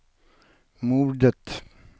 mordet